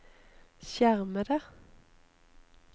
skjermede